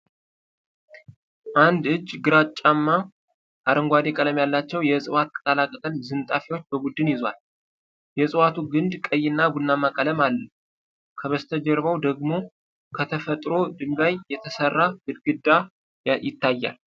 አንድ እጅ፣ ግራጫማ አረንጓዴ ቀለም ያላቸው የዕፅዋት ቅጠላ ቅጠል ዝንጣፊዎችን በቡድን ይዟል። የእጽዋቱ ግንድ ቀይና ቡናማ ቀለም አለው፤ ከበስተጀርባው ደግሞ ከተፈጥሮ ድንጋይ የተሰራ ግድግዳ ይታያል።